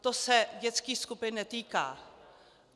To se dětských skupin netýká.